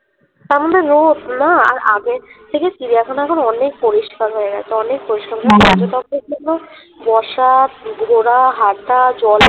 না আর আগের থেকে চিড়িয়াখানা এখন অনেক পরিষ্কার অনেক পরিষ্কার হয়ে গেছে বসা ঘোড়া হাটা